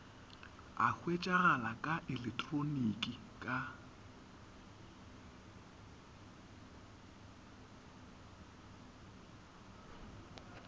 a hwetšagala ka eleketroniki ka